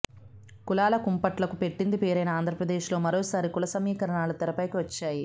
కులాల కుంపట్లకు పెట్టింది పేరైన ఆంధ్రప్రదేశ్ లో మరోసారి కుల సమీకరణాలు తెరపైకి వచ్చాయి